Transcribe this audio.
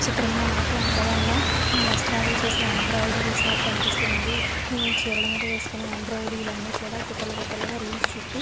ఈ చిత్రం లో నాక ఆడవాళ్ళ వస్త్రాలకు చేసే ఎంబ్రియోడేరీ షాప్ కనిపిస్తూ వుంది ఇది చీరాల మీద వేసుకునే ఎంబ్రియోడేరీ ఇవన్నీ కూడా గుటల్లు గుటల్లు గ రీల్స్ చుట్టి --